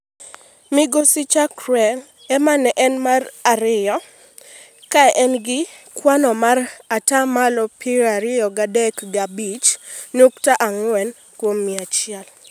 Migosi Chakwera ema ne en mar ariyo ka en gi kwan mar ata malo piero adek gi abich nyukta ang'wen kuom mia achiel.